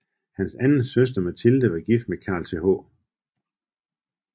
Hans anden søster Mathilde var gift med Carl Th